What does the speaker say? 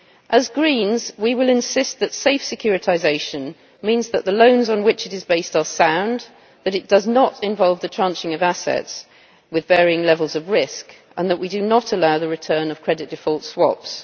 As Greens, we will insist that safe securitisation means the loans on which it is based are sound, that it does not involve the tranching of assets with varying levels of risk, and that we do not allow the return of credit default swaps.